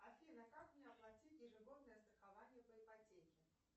афина как мне оплатить ежегодное страхование по ипотеке